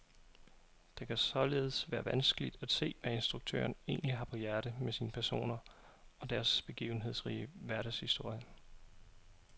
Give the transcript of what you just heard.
Det kan således være vanskeligt at se, hvad instruktøren egentlig har på hjertet med sine personer og deres begivenhedsrige hverdagshistorie.